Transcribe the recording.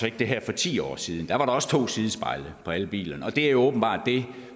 ikke det her for ti år siden da var der også to sidespejle på alle bilerne og det er åbenbart det